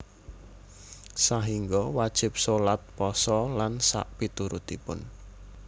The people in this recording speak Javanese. Sahinggo wajib sholat pasa lan sakpiturutipun